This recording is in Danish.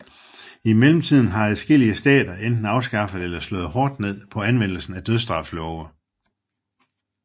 I mellemtiden har adskillige stater enten afskaffet eller slået hårdt ned på anvendelsen af dødsstraf love